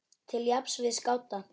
til jafns við skáta.